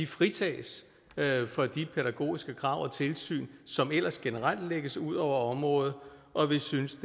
fritages for de pædagogiske krav og tilsyn som ellers generelt lægges ud over området og vi synes